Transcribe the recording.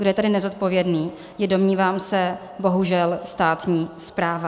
Kdo je tady nezodpovědný, je, domnívám se, bohužel státní správa.